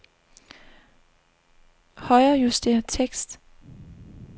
Højrejuster tekst.